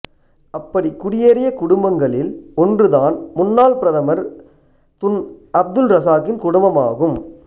அப்படி குடியேறிய குடும்பங்களில் ஒன்றுதான் முன்னாள் பிரதமர் துன் அப்துல் ரசாக்கின் குடும்பம் ஆகும்